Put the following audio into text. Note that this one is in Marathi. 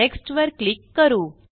नेक्स्ट वर क्लिक करू